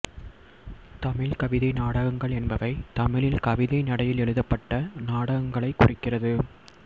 தமிழ் கவிதை நாடகங்கள் என்பவை தமிழில் கவிதை நடையில் எழுதப்பட்ட நாடகங்களைக் குறிக்கிறது